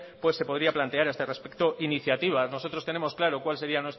se podría plantear a este respecto iniciativas nosotros tenemos claro cual sería